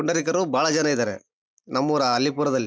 ಪುಂಡರೀಕರು ಬಹಳ ಜನ ಇದ್ದಾರೆ ನಮ್ ಊರ ಅಲ್ಲಿ ಪುರದಲ್ಲಿ.